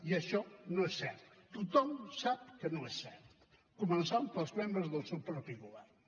i això no és cert tothom sap que no és cert començant pels membres del seu propi govern